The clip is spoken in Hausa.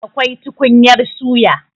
Akwai tukunyar suya.